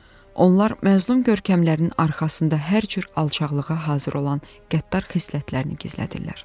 Onlar məzlum görkəmlərinin arxasında hər cür alçaqlığa hazır olan qəddar xislətlərini gizlədirlər.